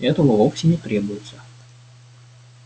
этого вовсе не требуется